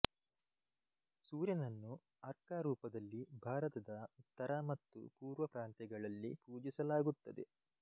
ಸೂರ್ಯನನ್ನು ಅರ್ಕ ರೂಪದಲ್ಲಿ ಭಾರತದ ಉತ್ತರ ಮತ್ತು ಪೂರ್ವ ಪ್ರಾಂತ್ಯಗಳಲ್ಲಿ ಪೂಜಿಸಲಾಗುತ್ತದೆ